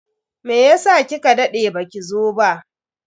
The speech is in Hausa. Meyasa kika dade baki zo ba?